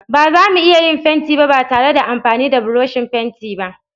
Ba zamu iya yin fenti ba ba tare da amfani da burushin fenti ba.